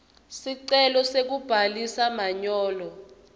sicelo sekubhalisa manyolo